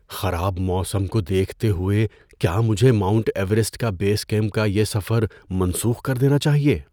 خراب موسم کو دیکھتے ہوئے، کیا مجھے ماؤنٹ ایورسٹ کے بیس کیمپ کا یہ سفر منسوخ کر دینا چاہیے؟